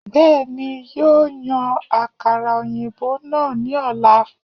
Bẹ́ẹ̀ni, yóò yan àkàrà òyìnbó náà ní ọ̀la